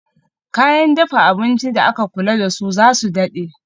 Kayan dafa abinci da aka kula dasu zasu dade